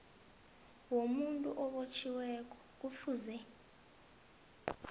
womuntu obotjhiweko kufuze